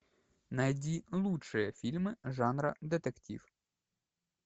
найди лучшие фильмы жанра детектив